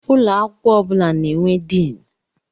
Ụlọ akwụkwọ ọ bụla na-enwe Diini.